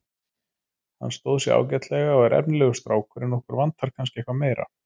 Hann stóð sig ágætlega og er efnilegur strákur en okkur vantar kannski eitthvað meira.